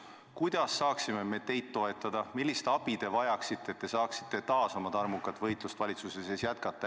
Kuidas saaksime me teid toetada, millist abi te vajaksite, et te saaksite taas oma tarmukat võitlust valitsuse sees jätkata?